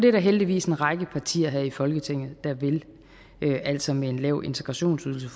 er der heldigvis en række partier i folketinget der vil det altså med en lav integrationsydelse